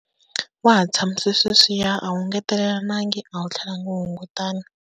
Wa ha tshamise sweswiyani, a wu engetelelanangi a wu tlhelanga wu hungutana.